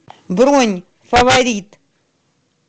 бронь фаворит